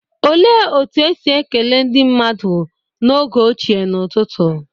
Olee otú e si ekele ndị mmadụ n'oge ochie n'ụtụtụ?